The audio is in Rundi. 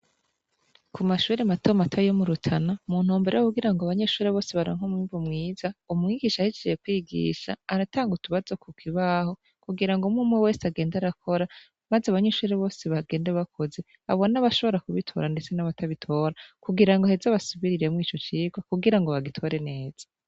Ku mashure matomato yo mu Rutana mu ntumbero yo kugira ngo abanyeshure bose baronke umwimbu mwiza, umwigisha ahejeje kwigisha aratanga utubazo ku kibaho kugira ngo umwumwe wese agende arakora, maze abanyeshure bose bagende bakoze abone abashobora kubitora ndetse n'abatabitora, kugira ngo aheza abasubiriremwo ico cigwa kugira ngo bagitore neza.